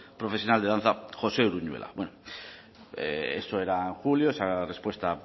profesional de danza josé uruñuela bueno eso era en julio esa respuesta